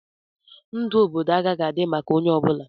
Ndụ obodo agaghị adị maka onye ọ bụla.